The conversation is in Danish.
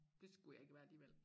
Dét skulle jeg ikke være alligevel